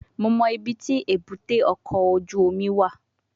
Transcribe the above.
Mo mọ ibiti ebute oko oju omi wa